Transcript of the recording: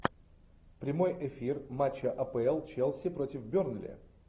прямой эфир матча апл челси против бернли